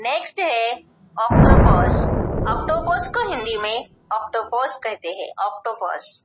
Next है octopus octopus को हिंदी में ऑक्टोपस कहते हैं ऑक्टोपस ।